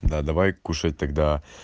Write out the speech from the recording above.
да давай кушай тогда